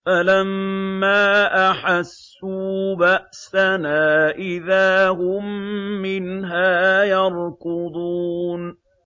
فَلَمَّا أَحَسُّوا بَأْسَنَا إِذَا هُم مِّنْهَا يَرْكُضُونَ